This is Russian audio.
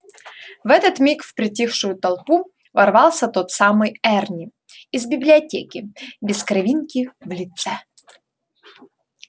в этот миг в притихшую толпу ворвался тот самый эрни из библиотеки без кровинки в лице